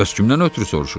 Bəs kimdən ötrü soruşursan?